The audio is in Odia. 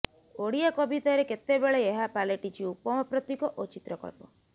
ଓଡ଼ିଆ କବିତାରେ କେତେବେଳେ ଏହା ପାଲଟିଛି ଉପମା ପ୍ରତୀକ ଓ ଚିତ୍ରକଳ୍ପ